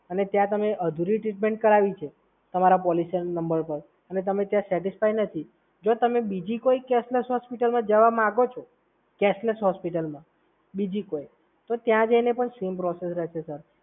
અને ત્યાં તમે અઘરી ટ્રીટમેન્ટ કરવી છે તમારા પોલિસી નંબર ઉપર અને તમે ત્યાં સેટિસફાય નથી. જો તમે બીજી કોઈ કેશલેસ હોસ્પિટલમાં જવા માંગો છો, કેશલેસ હોસ્પિટલમાં બીજી કોઈ તો ત્યાં જઈને પણ સેમ પ્રોસીઝર હશે સર.